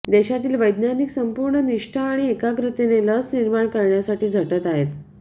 देशातील वैज्ञानिक संपूर्ण निष्ठा आणि एकाग्रतेने लस निर्माण करण्यासाठी झटत आहेत